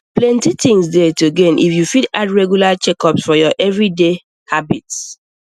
plenty things dey to gain if you fit add regular checkups for your everyday habits